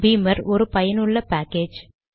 பீமர் ஒரு பயனுள்ள பேக்கேஜ்